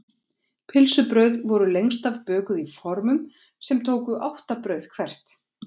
pylsubrauð voru lengst af bökuð í formum sem tóku átta brauð hvert